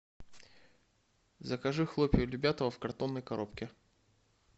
закажи хлопья любятово в картонной коробке